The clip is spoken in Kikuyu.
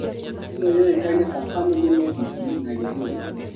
Ĩno yũĩkaine ta family medicine na gĩthũngũ